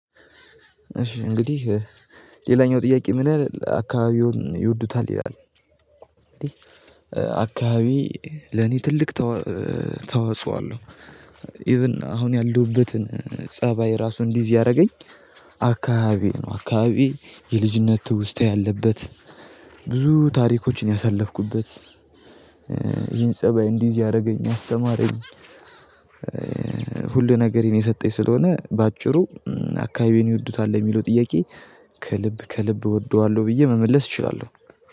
እሺ እንግዲህ ሌላኛው ጥያቄ ምን ይላል አካባቢውን ይወዱታል ይላል? እንግዲህ አካባቢ ለኔ ትልቅ ተወጽኦ አለው። ኢቭን አሁን ያለሁበትን ፀባይ ራሱን እንድይዝ ያረገኝ አካባቢ ነው። አካባቢ የልጅነት ትውስታ ያለበት ብዙ ታሪኮችን ያሳለፍኩበት። ይህን ፀባይ እንዲይዝ ያደረገኝ ያአስተማረኝ። ሁሉ ነገሬን የሰጠኝ ስለሆነ በአጭሩ አካባቢዬን ይወዱታል የሚለው ጥያቄ ከልብ ከልብ እወደዋለሁ ብዬ መመለስ እችላለሁ።